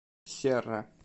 серра